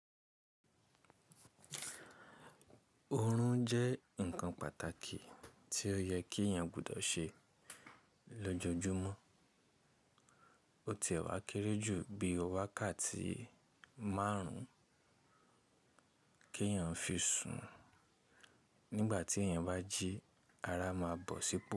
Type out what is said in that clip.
Orun jẹ́ nǹkan pàtàkì tí ó yẹ kí èèyàn gbọdọ̀ ṣe lójoojúmọ́. Ó ti e wa kéré jù bí wákàtí márùn-ún kí èèyàn fi sùn, nígbà tí èèyàn bá jí, ara má bọ̀ sípò.